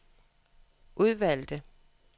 udvalgte